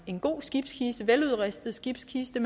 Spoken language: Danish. en god og veludrustet skibskiste